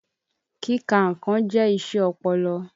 Kíka nnkàn jẹ́ iṣẹ́ ọpọlọ.